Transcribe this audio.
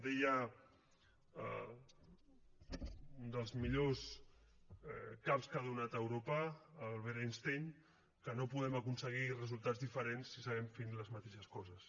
deia un dels millors caps que ha donat europa albert einstein que no podem aconseguir resultats diferents si seguim fent les mateixes coses